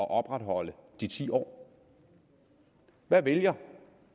at opretholde de ti år hvad vælger